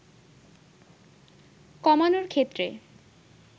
কমানোর ক্ষেত্রে